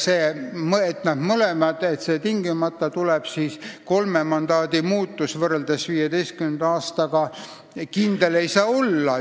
Selles, et tingimata tuleb see kolme mandaadi muutus võrreldes 2015. aastaga, ei saa kindel olla.